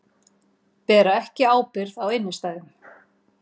Bera ekki ábyrgð á innstæðum